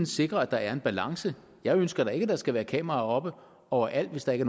sikre at der er en balance jeg ønsker da ikke at der skal være kameraer oppe overalt hvis der ikke